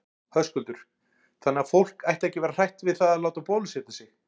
Höskuldur: Þannig að fólk ætti ekki að vera hrætt við það að láta bólusetja sig?